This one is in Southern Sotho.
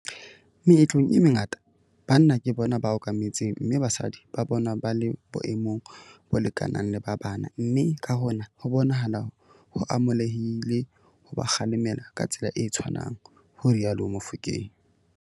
"Meetlong e mengata, banna ke bona ba okametseng mme basadi ba bonwa ba le boemong bo lekanang le ba bana mme ka hona ho bonahala ho amohelehile ho ba kgalema ka tsela e tshwanang," ho rialo Mofokeng.